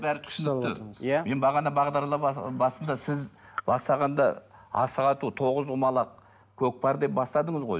бәрі түсінікті иә мен бағана бағдарлама басында сіз бастағанда асық ату тоғызқұмалақ көкпар деп бастадыңыз ғой